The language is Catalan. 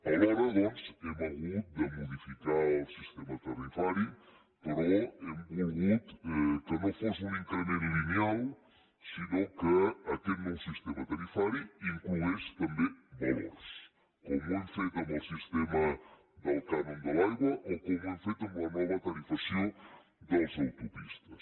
alhora doncs hem hagut de modificar el sistema tarifari però hem volgut que no fos un increment lineal sinó que aquest nou sistema tarifari inclogués també valors com ho hem fet amb el sistema del cànon de l’aigua o com ho hem fet amb la nova tarifació de les autopistes